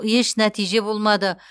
еш нәтиже болмады